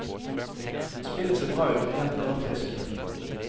Spillet ser bra ut rent grafisk.